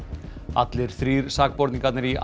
allir þrír sakborningarnir í